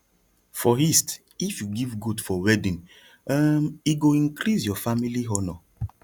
for east if you give goat for wedding um e go increase your family honor